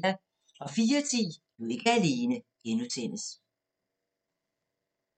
04:10: Du er ikke alene (G)